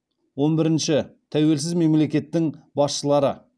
он бірінші тәуелсіз мемлекеттің басшылары